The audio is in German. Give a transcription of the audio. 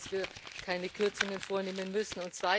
Aber ich hoffe, dass wir keine Kürzungen vornehmen müssen.